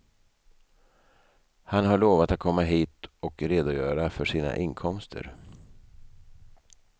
Han har lovat att komma hit och redogöra för sina inkomster.